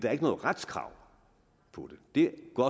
er ikke noget retskrav på det det går